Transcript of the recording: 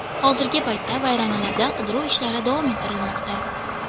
Hozirgi paytda vayronalarda qidiruv ishlari davom ettirilmoqda.